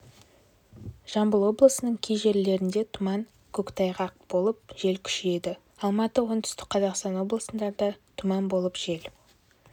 жамбыл облысының кей жерлерінде тұман көктайғақ болып жел күшейеді алматы оңтүстік қазақстан облыстарында тұман болып жел